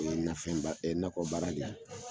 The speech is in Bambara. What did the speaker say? O ye nafɛn ba nakɔ baara de ye.